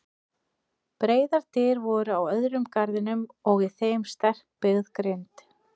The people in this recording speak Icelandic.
Breiðar dyr voru á öðrum garðinum og í þeim sterkbyggð grind.